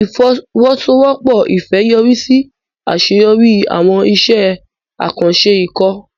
Ìfọwọ́sowọ́pọ̀ Ifẹ̀ yọrí sí àṣeyọrí àwọn iṣẹ́ àkànṣe ikọ̀.